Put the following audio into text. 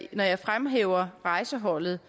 jeg fremhæver rejseholdet